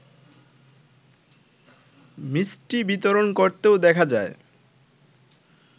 মিষ্টি বিতরণ করতেও দেখা যায়